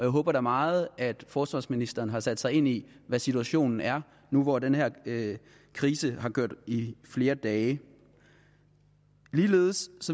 håber da meget at forsvarsministeren har sat sig ind i hvad situationen er nu hvor den her krise har kørt i flere dage ligeledes